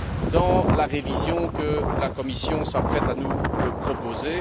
dans la révision que la Commission s'apprête à nous proposer.